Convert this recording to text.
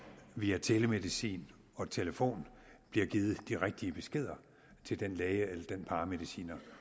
via telemedicin og telefon bliver givet de rigtige beskeder til den læge eller den paramediciner